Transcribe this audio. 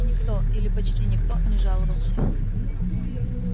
никто или почти никто не жаловался